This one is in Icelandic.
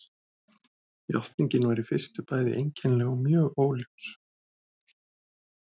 Játningin var í fyrstu bæði einkennileg og mjög óljós.